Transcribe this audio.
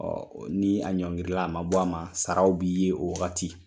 Ɔ ni a ɲɔngirila a ma bɔ a ma , saraw b'i ye o wagati!